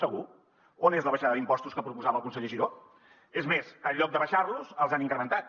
segur on és la baixada d’impostos que proposava el conseller giró és més en lloc d’abaixar los els han incrementat